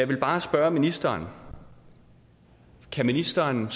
vil bare spørge ministeren kan ministeren